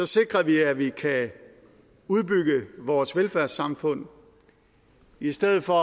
sikrer vi at vi kan udbygge vores velfærdssamfund i stedet for